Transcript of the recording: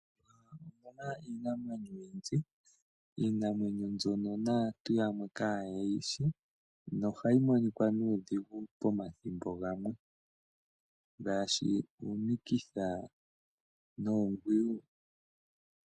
Opu na iinamwenyo oyindji mbyoka naantu yamwe kaye yishi nohayi monika nuudhigu pomathimbo gamwe ngaashi uunikitha noongwiyu.